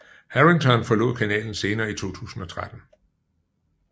Harrington forlod kanalen senere i 2013